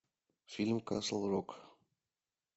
фильм касл рок